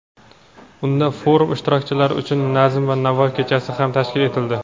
Unda forum ishtirokchilari uchun "Nazm va navo kechasi" ham tashkil etildi.